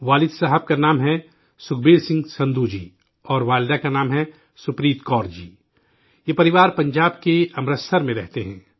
والد کا نام ہے سکھبیر سنگھ سندھو جی اور والدہ کا نام ہے سپریت کور جی، یہ فیملی پنجاب کے امرتسر میں رہتی ہے